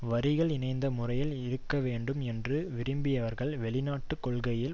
வரிகள் இணைந்த முறையில் இருக்கவேண்டும் என்று விரும்பியவர்கள் வெளிநாட்டு கொள்கையில்